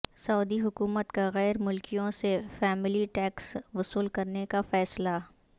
سعودی حکومت کا غیر ملکیوں سے فیملی ٹیکس وصول کرنے کا فیصلہ